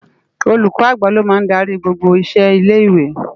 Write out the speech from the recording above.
Ólúkò ágbá ló má n dàri gbógbó iṣé ilé iwé